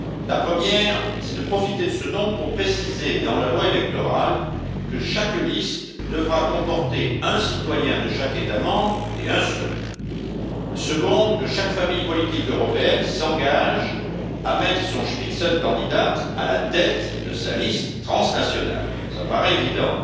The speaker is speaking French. La première, c'est de profiter de ce nombre pour préciser dans la loi électorale que chaque liste devra comporter un citoyen de chaque État membre, et un seul. La seconde, que chaque famille politique européenne s'engage à mettre son candidat tête de liste à la tête de sa liste transnationale cela paraît évident.